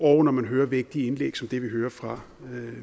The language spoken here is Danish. og når man hører vigtige indlæg som det vi hørte fra